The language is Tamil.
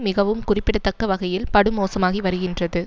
மிகவும் குறிப்பிடத்தக்க வகையில் படு மோசமாகி வருகின்றது